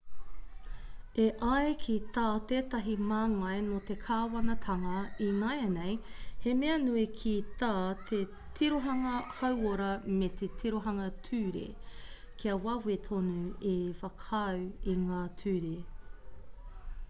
e ai ki tā tētahi māngai nō te kāwanatanga ināianei he mea nui ki tā te tirohanga hauora me te tirohanga ture kia wawe tonu te whakaū i ngā ture